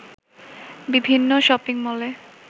বিভিন্ন শপিংমলে